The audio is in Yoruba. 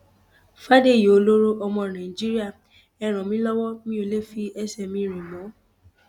fàdèyí ọlọrọ ọmọ nàìjíríà ẹ ràn mí lọwọ mi ò lè fi ẹsẹ mi rìn mọ